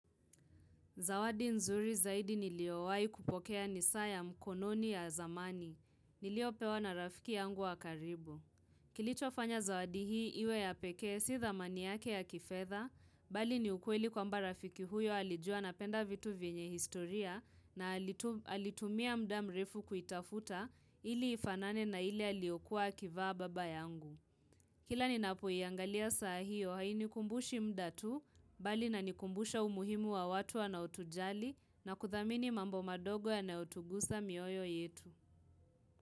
Zawadi nzuri zaidi niliowai kupokea nisaa ya mkononi ya zamani. Niliopewa na rafiki yangu wa karibu. Kilicho fanya zawadi hii iwe ya pekee sio dhamani yake ya kifedha, bali ni ukweli kwamba rafiki huyo alijua napenda vitu vienye historia na alitumia mda mrefu kuitafuta ili ifanane na ile aliyokuwa akivaa baba yangu. Kila ninapo iangalia saa hio haini kumbushi mda tu bali inani kumbusha umuhimu wa watu wanaotujali na kuthamini mambo madogo yanao tuguza mioyo yetu.